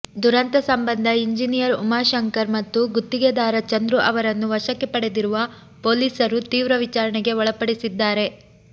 ದುರಂತ ಸಂಬಂಧ ಇಂಜಿನಿಯರ್ ಉಮಾಶಂಕರ್ ಮತ್ತು ಗುತ್ತಿಗೆದಾರ ಚಂದ್ರು ಅವರನ್ನು ವಶಕ್ಕೆ ಪಡೆದಿರುವ ಪೊಲೀಸರು ತೀವ್ರ ವಿಚಾರಣೆಗೆ ಒಳಪಡಿಸಿದ್ದಾರೆ